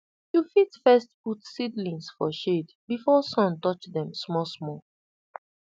you fit first put seedlings for shade before sun touch dem smallsmall